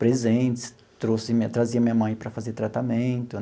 presentes, trouxe minha trazia minha mãe para fazer tratamento.